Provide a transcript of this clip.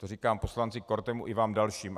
To říkám poslanci Kortemu i vám dalším.